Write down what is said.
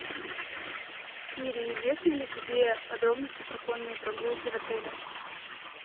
сири известны ли тебе подробности про конные прогулки в отеле